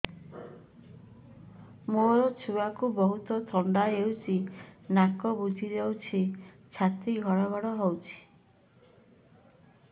ମୋ ଛୁଆକୁ ବହୁତ ଥଣ୍ଡା ହେଇଚି ନାକ ବୁଜି ଯାଉଛି ଛାତି ଘଡ ଘଡ ହଉଚି